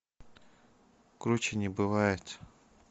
круче не бывает